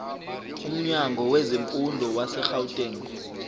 umnyango wezemfundo wasegauteng